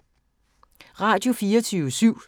Radio24syv